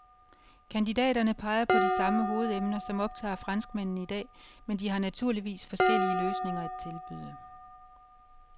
Kandidaterne peger på de samme hovedemner, som optager franskmændene i dag, men de har naturligvis forskellige løsninger at tilbyde.